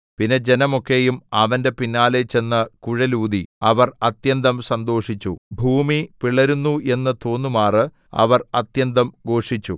പിന്നെ ജനമൊക്കയും അവന്റെ പിന്നാലെ ചെന്ന് കുഴലൂതി അവർ അത്യന്തം സന്തോഷിച്ചു ഭൂമി പിളരുന്നു എന്ന് തോന്നുമാറ് അവർ അത്യന്തം ഘോഷിച്ചു